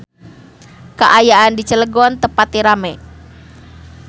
Kaayaan di Cilegon teu pati rame